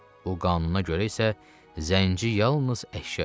Bu qanuna görə isə zənci yalnız əşya idi.